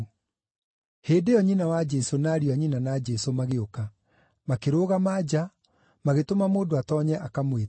Hĩndĩ ĩyo, nyina wa Jesũ na ariũ a nyina na Jesũ magĩũka. Makĩrũgama nja, magĩtũma mũndũ atoonye akamwĩte.